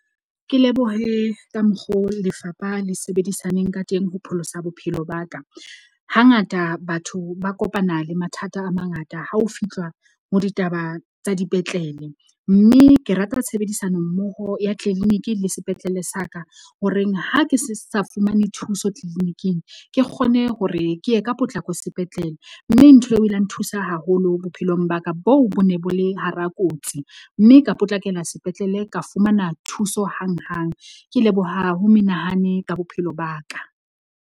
Ke lebohe ka mokgo lefapha le sebedisaneng ka teng ho pholosa bophelo ba ka. Hangata batho ba kopana le mathata a mangata ha ho fihlwa ho ditaba tsa dipetlele. Mme ke rata tshebedisano mmoho ya tleleniki le sepetlele sa ka. Ho reng ha ke sa fumane thuso clinic-ing ke kgone hore ke ye ka potlako sepetlele. Mme ntho eo o ile a nthusa haholo bophelong ba ka bo bo ne bo le hara kotsi. Mme ka potlakela sepetlele, ka fumana thuso hang hang. Ke leboha ho menahane ka bophelo ba ka.